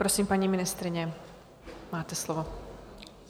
Prosím, paní ministryně, máte slovo.